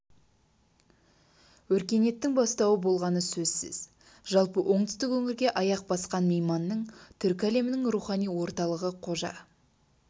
өркениеттің бастауы болғаны сөзсіз жалпы оңтүстік өңірге аяқ басқан мейманның түркі әлемінің рухани орталығы қожа